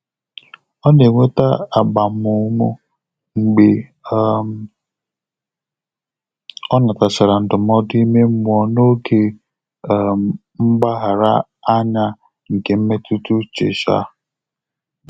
Ọ́ nà-ènwétá ágbàmụ́mụ́ mgbè um ọ́ nàtàchàrà ndụ́mọ́dụ́ ímé mmụ́ọ́ n’ógè um mgbàghàrà ányá nké mmétụ́tà úchè. um